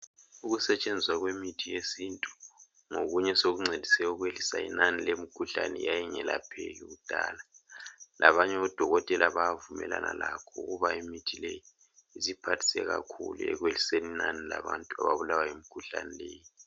Ukusetshenziswa kwemithi yesintu ngokunye osokuncedise ukwehlisa inani lemikhuhlane eyayingelapheki kudala. Labanye odokotela bayavumelana lakho ukuba imithi leyi isiphathise kakhulu ekwehliseni inani labantu ababulawa yimkhuhlane leyi.